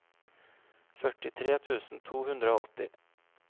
førtitre tusen to hundre og åtti